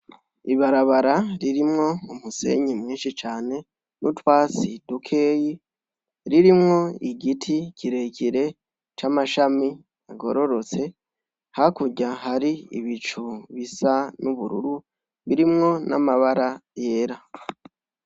Ibarabara ririmwo umusenyi mwinshi cane n'utwasi dukeyi ririmwo igiti kirekire c'amashami agororotse hakurya hari ibicu bisa n'ubururu birimwo n'amabara yera.